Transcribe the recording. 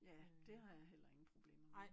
Ja det har jeg heller ingen problemer med